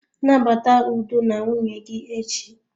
Nabata udo na nwunye gị echi.